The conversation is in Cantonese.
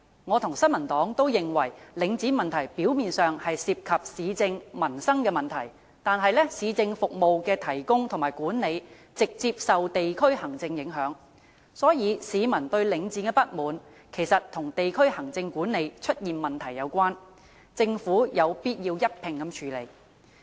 我與新民黨均認為，領展問題表面上涉及市政、民生的問題，但市政服務的提供和管理直接受地區行政影響，所以市民對領展的不滿，其實與地區行政管理出現問題有關，政府有必要一併處理。